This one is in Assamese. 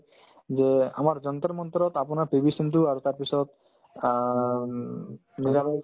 যে আমাৰ যন্তৰ-মন্তৰত আপোনাৰ পি ভি সিন্ধু আৰু তাৰপিছত আ উম